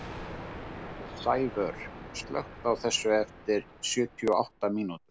Sævör, slökktu á þessu eftir sjötíu og átta mínútur.